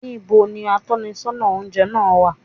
Ní bo ni atónisọ́nà oúnjẹ náà wà?